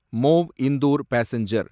mauve Indore passenger